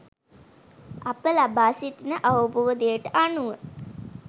අප ලබා සිටින අවබෝධයට අනුව